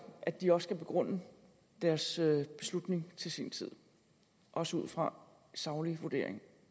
at de også kan begrunde deres beslutning til sin tid også ud fra saglige vurderinger